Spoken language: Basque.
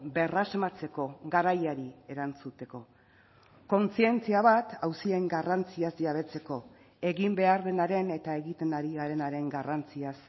berrasmatzeko garaiari erantzuteko kontzientzia bat auzien garrantziaz jabetzeko egin behar denaren eta egiten ari garenaren garrantziaz